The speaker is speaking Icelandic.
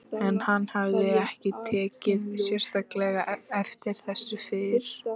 En hann hafði ekki tekið sérstaklega eftir þessu fyrr.